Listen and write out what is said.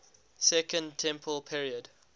second temple period